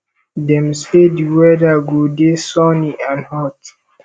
dem dey say di weather go dey sunny and hot